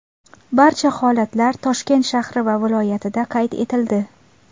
Barcha holatlar Toshkent shahri va viloyatida qayd etildi.